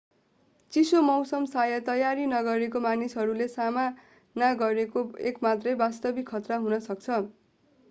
चिसो मौसम शायद तयारी नगरेका मानिसहरूले सामना गरेको एक मात्रै वास्तविक खतरा हुन सक्छ